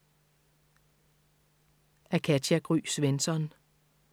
Af Katja Gry Svensson